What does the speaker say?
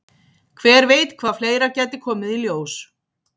Hver veit hvað fleira gæti komið í ljós?